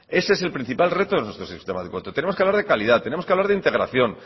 ese es el principal reto de nuestro sistema educativo tenemos que hablar de calidad tenemos que hablar de integración